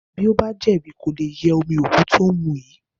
Bí ó bá jẹ̀bi, kò le ye omi òkú tó ń mu yìí.